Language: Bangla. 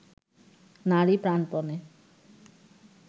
নারী প্রাণপণে